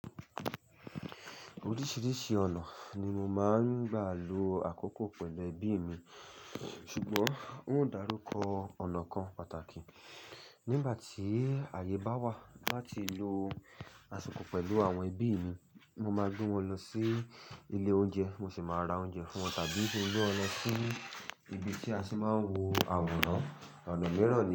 Oríṣiríṣi ọ̀nà ni mo máa ń gbà lo àkókò pẹ̀lú ẹbí mi, ṣùgbọ́n n ó darúkọ ọ̀nà kan pàtàkì. Nígbà tí àyè bá wà láti lo àsìkò pẹ̀lú àwọn ẹbí mi, mo máa gbé wọn lọ sí ilé oúnjẹ, mo sì máa ra oúnjẹ fún wọn tàbí gbé wọn lọ sí ibi tí a tì máa ń wo àwòrán. Ọ̀nà miiràn ni.